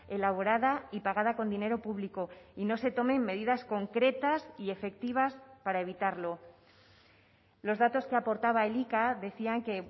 elaborada y pagada con dinero público y no se tomen medidas concretas y efectivas para evitarlo los datos que aportaba elika decían que